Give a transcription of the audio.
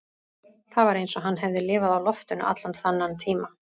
Það var eins og hann hefði lifað á loftinu allan þennan tíma